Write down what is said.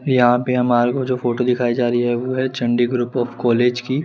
यहां पे हमारे को जो फोटो दिखाई जा रही है वह चंडीगढ़ ग्रुप आफ कॉलेज की